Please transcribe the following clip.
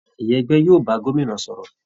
Ìyá ẹgbẹ́ yóò bá gómìnà sọ̀rọ̀